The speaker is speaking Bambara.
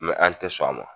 an tɛ sɔn a ma